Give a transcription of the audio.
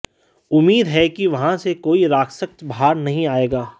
उम्मीद है कि वहां से कोई राक्षस बाहर नहीं आएगा